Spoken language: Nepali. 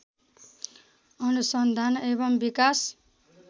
अनुसन्धान एवं विकास